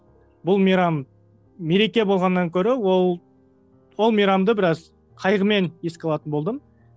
бұл мейрам мереке болғаннан гөрі ол ол мейрамды біраз қайғымен еске алатын болдым